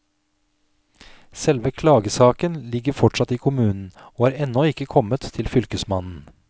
Selve klagesaken ligger fortsatt i kommunen, og har ennå ikke kommet til fylkesmannen.